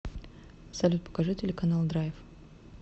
салют покажи телеканал драйв